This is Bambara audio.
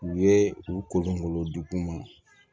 U ye u kolonkolon degun ma